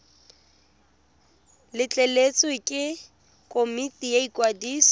letleletswe ke komiti ya ikwadiso